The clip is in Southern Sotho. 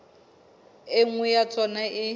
e nngwe ya tsona e